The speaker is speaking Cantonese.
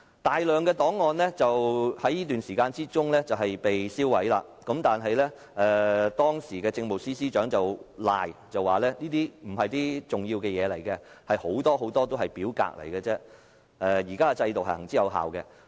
大量的檔案在這段時間被銷毀，但當時的政務司司長卻推說這些檔案並非重要文件，當中很大部分都只是表格，又說現時的制度行之有效。